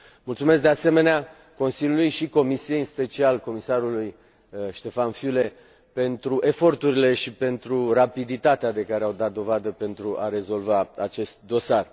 Mulțumesc, de asemenea, Consiliului și Comisiei, în special Comisarului Stefan Füle pentru eforturile și pentru rapiditatea de care au dat dovadă pentru a rezolva acest dosar.